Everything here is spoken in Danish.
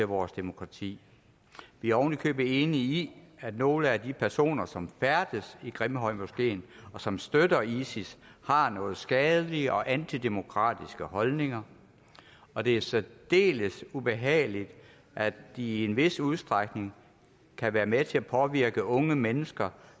vores demokrati vi er ovenikøbet enige i at nogle af de personer som færdes i grimhøjmoskeen og som støtter isis har nogle skadelige og antidemokratiske holdninger og det er særdeles ubehageligt at de i en vis udstrækning kan være med til at påvirke unge mennesker